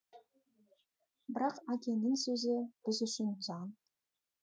бірақ әкенің сөзі біз үшін заң